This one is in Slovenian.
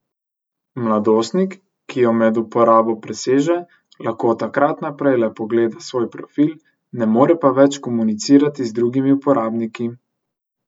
Mladostnik, ki jo med uporabo preseže, lahko od takrat naprej le pogleda svoj profil, ne more pa več komunicirati z drugimi uporabniki.